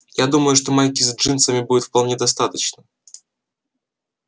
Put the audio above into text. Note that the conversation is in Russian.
я думаю что майки с джинсами будет вполне достаточно